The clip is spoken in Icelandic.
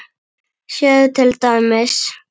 Sjáðu til dæmis